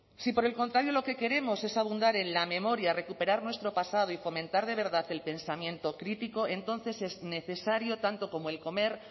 si por el contrario lo que queremos es abundar en la memoria recuperar nuestro pasado y fomentar de verdad el pensamiento crítico entonces es necesario tanto como el comer